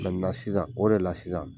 sisan o de la sisan